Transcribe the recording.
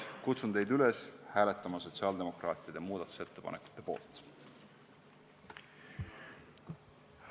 Ma kutsun teid üles hääletama sotsiaaldemokraatide muudatusettepaneku poolt!